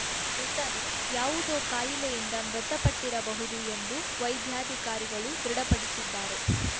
ಮೃತನು ಯಾವುದೋ ಕಾಯಿಲೆಯಿಂದ ಮೃತಪಟ್ಟಿರಬಹುದು ಎಂದು ವೈದ್ಯಾಧಿಕಾರಿಗಳು ದೃಢಪಡಿಸಿದ್ದಾರೆ